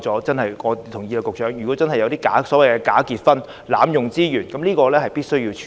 局長，我同意如真的有假結婚、濫用資源的情況，確實需要處理。